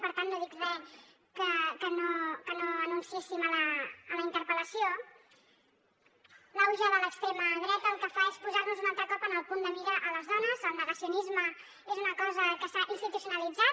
per tant no dic res que no anunciéssim a la interpel·lació l’auge de l’extrema dreta el que fa és posar nos un altre cop en el punt de mira a les dones el negacionisme és una cosa que s’ha institucionalitzat